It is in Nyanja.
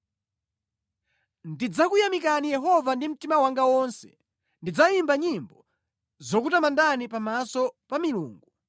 Ndidzakuyamikani Yehova ndi mtima wanga wonse; ndidzayimba nyimbo zokutamandani pamaso pa “milungu.”